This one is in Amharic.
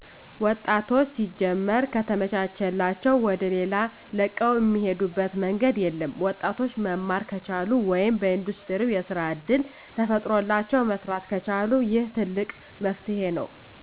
ወጣቶች ሲጀመር ከተመቻቸላዉ ወደሌላ ለቀዉ እሚሄዱበት መንገድ የለም። ወጣቶች መማር ከቻሉ ወይም በኢንዱስትሪው የስራ እድል ተፈጥሮላቸው መስራት ከቻሉ ይህ ትልቅ መፍትሄ ነው።